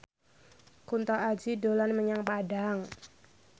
Kunto Aji dolan menyang Padang